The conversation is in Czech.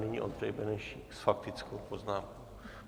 Nyní Ondřej Benešík s faktickou poznámkou.